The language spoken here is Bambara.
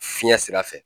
Fiɲɛ sira fɛ